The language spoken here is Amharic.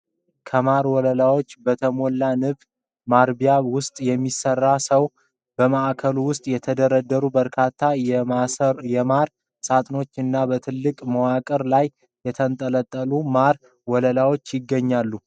ከማር ወለላዎች በተሞላ ንብ ማርቢያ ውስጥ የሚሰራ ሰው ። በማዕከሉ ውስጥ የተደረደሩ በርካታ የማር ሳጥኖች እና በትልቅ መዋቅር ላይ የተንጠለጠሉ ማር ወለላዎች ይገኛሉ።